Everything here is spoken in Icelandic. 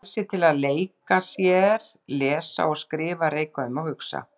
Frelsi til að leika sér, lesa og skrifa, reika um og hugsa.